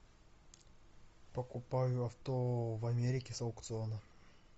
покупаю авто в америке с аукциона